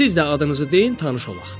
Siz də adınızı deyin tanış olaq.